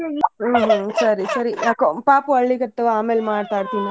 ಹ್ಮ್ ಹ್ಮ್ ಸರಿ ಸರಿ ನಾ ಪಾಪು ಅಳ್ಲಿಕತ್ವ ಆಮೇಲ್ ಮಾತಾಡ್ತಿನ.